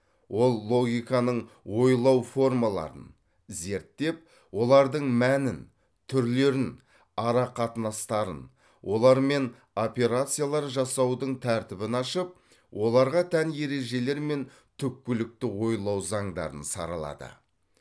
ол логиканың ойлау формаларын зерттеп олардың мәнін түрлерін ара қатынастарын олармен операциялар жасаудың тәртібін ашып оларға тән ережелер мен түпкілікті ойлау заңдарын саралады